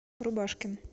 рубашкин